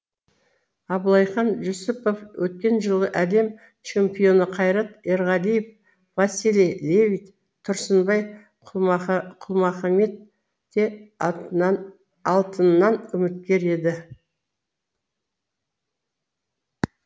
абылайхан жүсіпов өткен жылғы әлем чемпионы қайрат ерғалиев василий левит тұрсынбай құлмахаммет те алтыннан үміткер еді